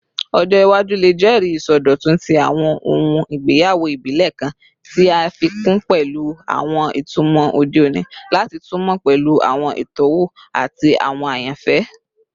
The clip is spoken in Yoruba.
Ọjọ iwaju le jẹri isọdọtun ti awọn ohun igbeyawo ibile kan, ti a fi kun pẹlu awọn itumọ ode oni lati tunmọ pẹlu awọn itọwo ati awọn ayanfẹ